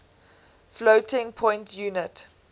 floating point unit